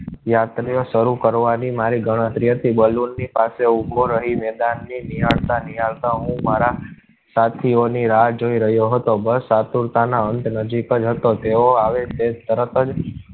યાત્રીઓ શરૂ કરવાની મારી ગણતરી હતી. balloon ની પાસે ઊભો રહી મેદાન નિહાળ તાં નિહાળ તાં હું મારા સાથીઓ ની રાહ જોઈ રહ્યો હતો. બસ આતુરતાના અંત નજીકજ હતો તેઓ આવે તે તરત જ